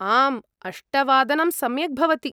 आम्, अष्टवादनं सम्यक् भवति।